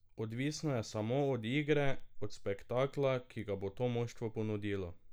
Odvisno je samo od igre, od spektakla, ki ga bo to moštvo ponudilo.